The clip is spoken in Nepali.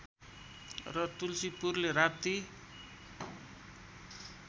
र तुल्सीपुरले राप्ती